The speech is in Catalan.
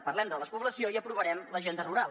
parlem de la despoblació i aprovarem l’agenda rural